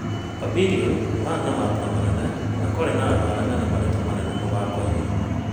Pabirioni- marĩ mambura manene na kwarĩ na andũ arĩa mena marĩtwa manene mũthakoinĩ.